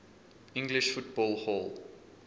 english football hall